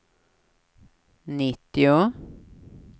nittio